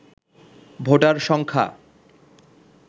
voter সংখ্যা